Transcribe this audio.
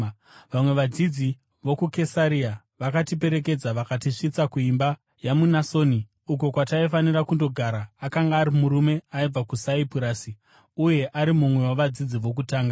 Vamwe vadzidzi vokuKesaria vakatiperekedza vakatisvitsa kuimba yaMunasoni, uko kwataifanira kundogara. Akanga ari murume aibva kuSaipurasi uye ari mumwe wavadzidzi vokutanga.